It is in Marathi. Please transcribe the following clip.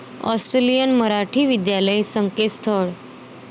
ऑस्ट्रेलियन मराठी विद्यालय संकेतस्थळ